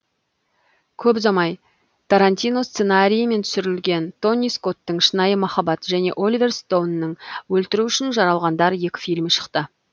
көп ұзамай тарантино сценарийімен түсірілген тони скоттың шынайы махаббат және оливер стоунның өлтіру үшін жаралғандар екі фильмі шықты